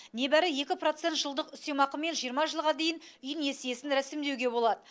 небәрі екі процент жылдық үстемақымен жиырма жылға дейін үй несиесін рәсімдеуге болады